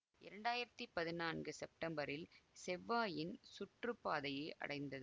இரண்டாயிரத்தி பதினான்கு செப்டம்பரில் செவ்வாயின் சுற்று பாதையை அடைந்தது